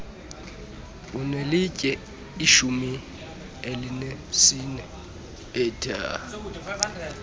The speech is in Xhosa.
unelinye ishumi elinesine